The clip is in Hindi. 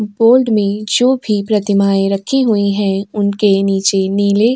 बोर्ड में जो भी प्रतिमाएं रखी हुई हैं उनके नीचे नीले --